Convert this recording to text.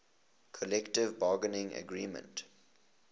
collective bargaining agreement